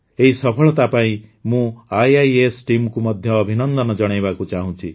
ଏହି ସଫଳତା ପାଇଁ ମୁଁ ଆଇଆଇଏସ୍ ଟିମକୁ ମଧ୍ୟ ଅଭିନନ୍ଦନ ଜଣାଇବାକୁ ଚାହୁଁଛି